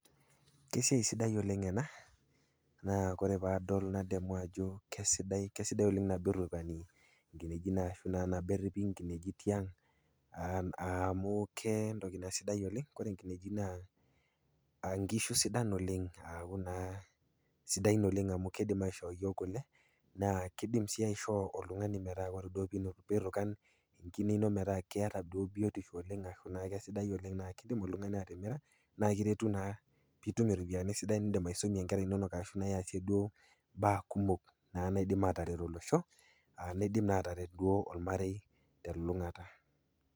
Kesiai sidai oleng ena, naa kademu oleng ajo kesidai oleng tenerukani inkinejik ashu nabo eripi inkinejik tiang amu kentoki sidai oleng. Ore inkinejik naa inkishu sidan oleng aku naa sidain oleng amu keidim aishoo iyook kule naa keidim sii aishoo oltung'ani metaa ore duo pii irukan enkine ino metaa keata duo biotisho oleng ashu naa kesidai oleng naa keidim oltung'ani atimira naa kiretu naa peitum iropiani sidan niindim aisomie inkerra inono ashu naa iasie duo kulie baa kumok naa naidim ataret olosho, neidim naa ataret olmarei telulung'ata.